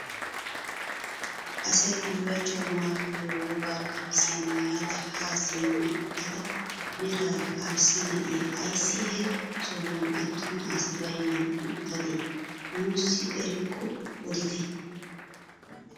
Asay bullachchawu maayiyo wogga qamisiyaa maayada haa simma uttida meraara arssa na'iyaa ayssi he sohuwaan attuma asi baynnan uttadee nuusi erikko oditte!